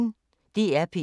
DR P1